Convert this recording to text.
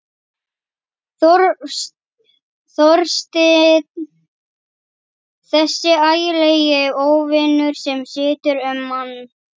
Þorstinn, þessi ægilegi óvinur sem situr um mann.